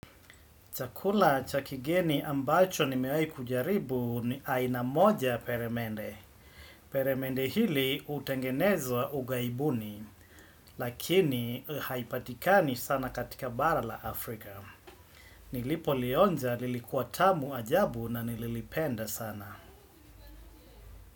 Chakula cha kigeni ambacho nimewahi kujaribu ni aina moja peremende. Peremende hili utengenezwa ugaibuni. Lakini haipatikani sana katika bara la Afrika. Nilipolionja nilikuwa tamu ajabu na nililipenda sana.